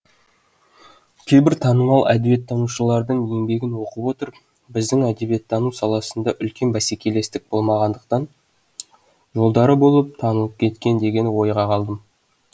кейбір танымал әдебиеттанушылардың еңбегін оқып отырып біздің әдебиеттану саласында үлкен бәсекелестік болмағандықтан жолдары болып танылып кеткен деген ойға қалдым